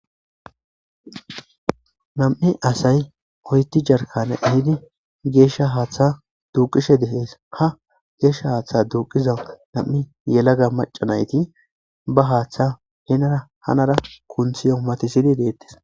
nam7i asay oyti jarkane ehidi geeshsha haaththa duuqishe de'es ka geeshsha haaththa duuqiza nam7i yelaga macanayti ba haaththa henara hanara kunthi omati sini deettes